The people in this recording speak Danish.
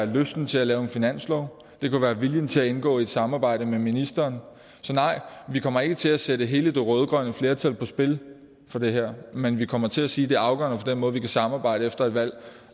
lysten til at lave en finanslov eller om viljen til at indgå i et samarbejde med ministeren så nej vi kommer ikke til at sætte hele det rød grønne flertal på spil for det her men vi kommer til at sige at det er afgørende for den måde vi kan samarbejde efter et valg